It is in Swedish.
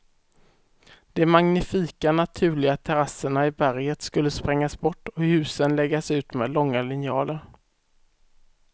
De magnifika naturliga terrasserna i berget skulle sprängas bort och husen läggas ut med långa linjaler.